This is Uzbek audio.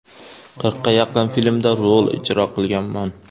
Qirqqa yaqin filmda rol ijro qilganman.